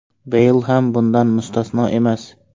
Beyl ham bundan mustasno emas.